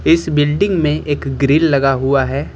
इस बिल्डिंग में एक ग्रिल लगा हुआ है।